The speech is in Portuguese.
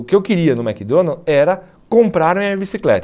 O que eu queria no McDonald's era comprar a minha bicicleta.